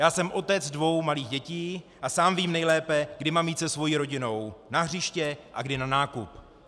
Já jsem otec dvou malých dětí a sám vím nejlépe, kdy mám jít se svou rodinou na hřiště a kdy na nákup.